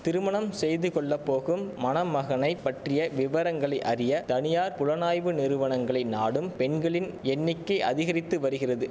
திருமணம் செய்து கொள்ள போகும் மணமகனைப் பற்றிய விவரங்களை அறிய தனியார் புலனாய்வு நிறுவனங்களை நாடும் பெண்களின் எண்ணிக்கை அதிகரித்து வரிகிறது